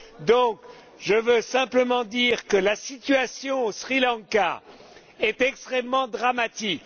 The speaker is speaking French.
Donc, je veux simplement dire que la situation au Sri Lanka est extrêmement dramatique.